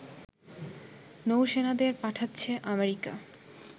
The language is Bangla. নৌসেনাদের পাঠাচ্ছে আমেরিকা